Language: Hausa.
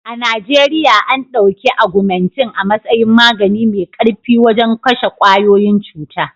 A Najeriya.an ɗauki agumintin a matsayin magani mai ƙarfi wajen kashe ƙwayoyin cuta.